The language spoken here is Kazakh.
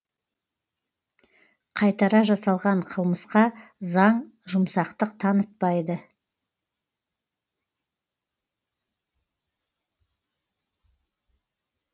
қайтара жасалған қылмысқа заң жұмсақтық танытпайды